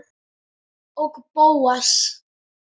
Og Bóas.